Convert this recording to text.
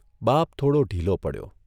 '' બાપ થોડો ઢીલો પડ્યો.